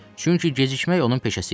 Çünki gecikmək onun peşəsi idi.